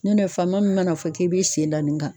Nɔtɛ fama min mana fɔ k'i b'i sen da nin kan.